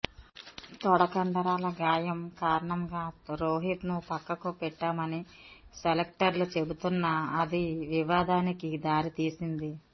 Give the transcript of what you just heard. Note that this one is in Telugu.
తొడకండరాల గాయం కారణంగా రోహిత్ను పక్కకు పెట్టామని సెలక్టర్లు చెబుతున్నా అది వివాదానికి దారి తీసింది